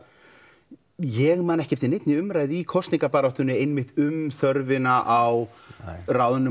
ég man ekki eftir neinni umræðu í kosningabaráttunni einmitt um þörfina á ráðnum